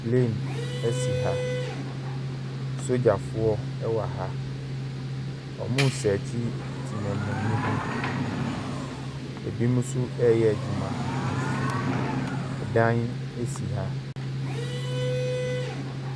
Plane si ha. Sogyafoɔ wɔ ha. Wɔresearche temamuni bi. Ebinom mnso reyɛ adwuma. Ɛdan esi ha.